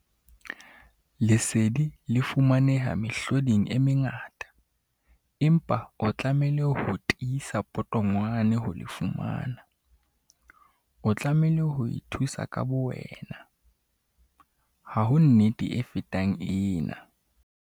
Lesedi le fumaneha mehloding e mengata, empa o tlamehile ho tiisa potongwane ho le fumana. O tlamehile ho ithusa ka bowena. Ha ho nnete e fetang ena!